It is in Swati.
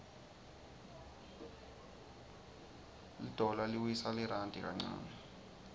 lidollar liwtsa lirandi kancane